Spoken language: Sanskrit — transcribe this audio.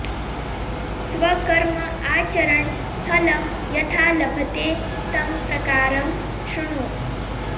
स्वकर्म आचरन् फलं यथा लभते तं प्रकारं शृणु